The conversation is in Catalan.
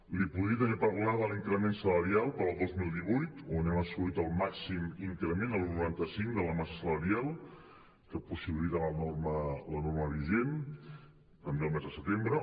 li podria també parlar de l’increment salarial per al dos mil divuit on hem assolit el màxim increment de l’un coma noranta cinc de la massa salarial que possibilita la norma vigent també el mes de setembre